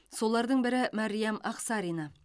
солардың бірі мәриям ақсарина